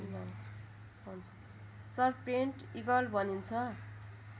serpent eagle भनिन्छ